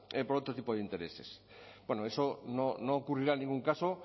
por otro tipo de intereses bueno eso no ocurrirá en ningún caso